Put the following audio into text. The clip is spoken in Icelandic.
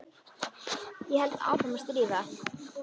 Ég held áfram að stríða.